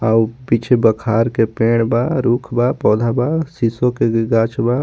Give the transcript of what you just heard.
हाऊ पीछे बखार के पेड़ बा रूख बा पौधा बा सिसो के भी गाछ बा.